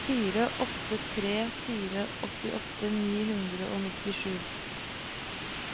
fire åtte tre fire åttiåtte ni hundre og nittisju